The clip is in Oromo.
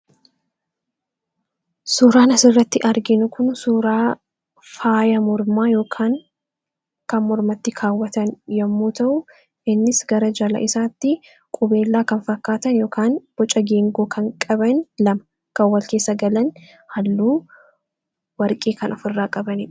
suuraanas irratti arginkun suuraa faaya murmaa ykaan kan murmatti kaawwatan yommuu ta'u innis gara jala isaatti qubeelaa kan fakkaatan ykn buca geengoo kan qaban lama kawwalcee sagalan halluu warqee kan of irraa qabanin